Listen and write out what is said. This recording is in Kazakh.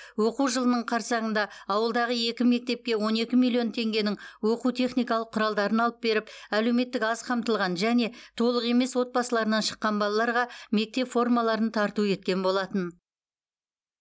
оқу жылының қарсаңында ауылдағы екі мектепке он екі миллион теңгенің оқу техникалық құралдарын алып беріп әлеуметтік аз қамтылған және толық емес отбасыларынан шыққан балаларға мектеп формаларын тарту еткен болатын